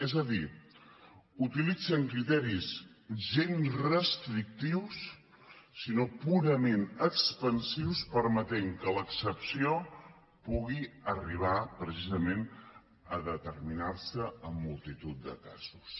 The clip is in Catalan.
és a dir utilitzen criteris gens restrictius sinó purament expansius permetent que l’excepció pugui arribar precisament a determinar se en multitud de casos